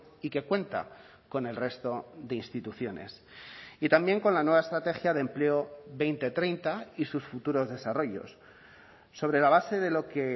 y que cuenta con el resto de instituciones y también con la nueva estrategia de empleo dos mil treinta y sus futuros desarrollos sobre la base de lo que